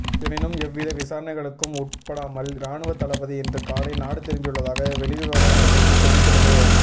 எனினும் எவ்வித விசாரணைகளுக்கும் உட்படாமல் இராணுவத் தளபதி இன்று காலை நாடு திரும்பியுள்ளதாக வெளிவிவகார அமைச்சு தெரிவித்துள்ளது